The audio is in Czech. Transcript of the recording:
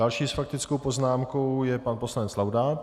Další s faktickou poznámkou je pan poslanec Laudát.